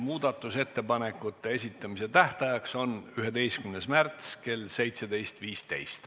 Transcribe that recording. Muudatusettepanekute esitamise tähtaeg on 11. märts kell 17.15.